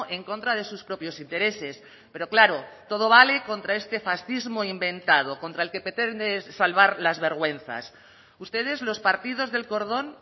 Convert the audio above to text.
en contra de sus propios intereses pero claro todo vale contra este fascismo inventado contra el que pretende salvar las vergüenzas ustedes los partidos del cordón